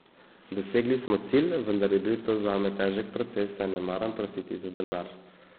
Dosegli smo cilj, vendar je bil to zame težek proces, saj ne maram prositi za denar.